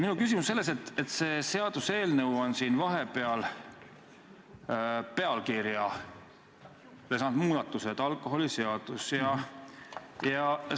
Minu küsimus on selles, et see seaduseelnõu on siin vahepeal pealkirja saanud muudatuse – "Alkoholiseaduse ja ...